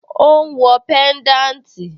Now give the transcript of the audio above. Ó ń wọ pẹ́ńdáǹtì?